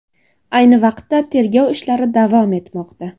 Ayni vaqtda tergov ishlari davom etmoqda.